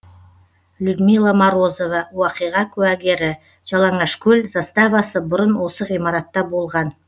людмила морозова оқиға куәгері жалаңашкөл заставасы бұрын осы ғимаратта болған